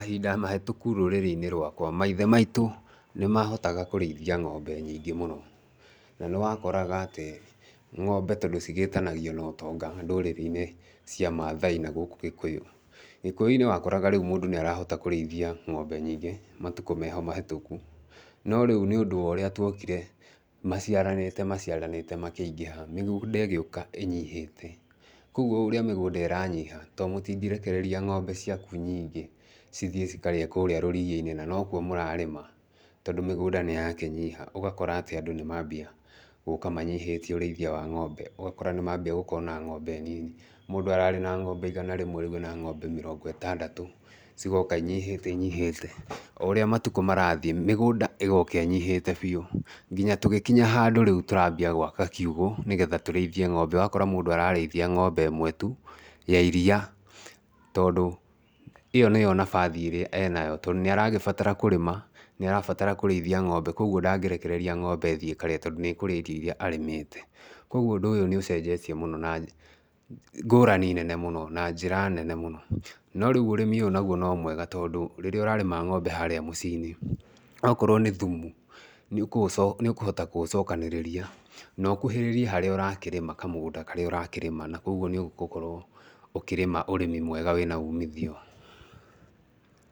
Mahinda mahĩtũku rũrĩrĩ-inĩ rwakwa, maithe maitũ nĩ mahotaga kũrĩithia ng'ombe nyingĩ mũno, na nĩ wakoraga atĩ ng'ombe tondũ cigĩĩtanagio na ũtonga ndũrĩrĩ-inĩ cia mathai na gũkũ gĩkũyũ. Gĩkũyũ-inĩ wakoraga rĩu mũndũ nĩ arahota kũrĩithia ng'ombe nyingĩ matukũ-inĩ meho mahĩtũku, no rĩu nĩ ũndũ wa ũrĩa twokire maciaranĩte maciaranĩte makĩingĩha mĩgũnda ĩgĩũka ĩnyihĩte, koguo o ũrĩa mĩgũnda ĩranyiha tondũ mũtingĩrekereria ng'ombe ciaku nyingĩ cithiĩ cikarĩe kũrĩa rũriya-inĩ na nokuo mũrarĩma, tondũ mĩgũnda nĩ yakĩnyiha, ũgakora atĩ andũ nĩ mambia gũka manyihĩtie ũrĩithia wa ng'ombe, ũgakora nĩ mambia gũkorwo na ng'ombe nini, mũndũ ararĩ na ng'ombe igana rĩmwe rĩu arĩ na ng'ombe mĩrongo ĩtandatũ, cigoka inyihĩte inyihĩte, o ũrĩa matukũ marathiĩ mĩgũnda ĩgoka ĩnyihĩte biũ, nginya tũgĩkinya handũ rĩu tũrambia gwaka kiugũ nĩgetha tũrĩithie ng'ombe, ũgakora mũndũ ararĩithia ng'ombe ĩmwe tu ya iria, tondũ ĩyo nĩyo nabathi ĩrĩa enayo tondũ nĩ aragĩbatara kũrĩma, nĩarabatara kũrĩithia ng'ombe koguo ndangĩrekereria ng'ombe ĩthiĩ ĩkarĩe tondũ nĩ ĩkũrĩa irio iria arĩmĩte. Koguo ũndũ ũyũ nĩ ũcenjetie mũno na ngũrani nene mũno, na njĩra nene mũno, no rĩu ũrĩmi ũyũ onaguo no mwega tondũ rĩrĩa ũrarĩma ng'ombe harĩa mũciĩ-inĩ, okorwo nĩ thumu nĩ ũkũhota kũ ũcokanĩrĩria na ũkuhĩrĩrie harĩa ũrakĩrĩma kamũgũnda karĩa ũrakĩrĩma, na koguo nĩ ũgũkorwo ũkĩrĩma ũrĩmi mwega wĩna umithio.